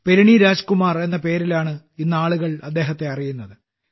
പെരിണി രാജ്കുമാർ എന്ന പേരിലാണ് ഇന്ന് ആളുകൾ അദ്ദേഹത്തെ അറിയുന്നത്